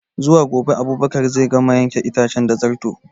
Zuwa gobe Abubakar zai gama yanke itace da Zarto